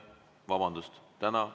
Vabandust!